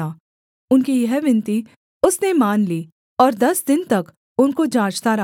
उनकी यह विनती उसने मान ली और दस दिन तक उनको जाँचता रहा